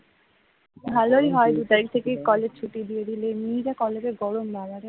ভালোই হয় দুই তারিখ থেকে স্কুল কলেজ ছুটি দিয়ে দিলে এমনি যা বড় কলেজে গরম বাবারে